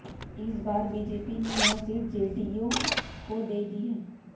इस बार बीजेपी ने यह सीट जेडीयू को दे दी है